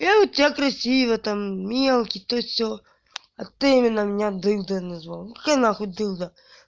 я вот тебя красиво там мелкий то сё а ты именно меня дылдой назвал какая на хуй дылда